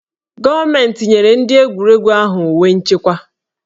Gọọmentị nyere ndị egwuregwu ahụ uwe nchekwa